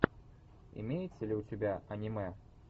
имеется ли у тебя аниме